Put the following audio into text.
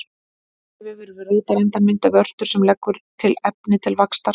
Tengivefur við rótarendann myndar vörtu sem leggur til efni til vaxtar.